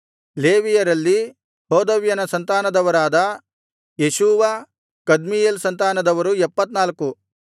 ಲೇವಿಯರಲ್ಲಿ ಹೋದವ್ಯನ ಸಂತಾನದವರಾದ ಯೇಷೂವ ಕದ್ಮೀಯೇಲ್ ಸಂತಾನದವರು 74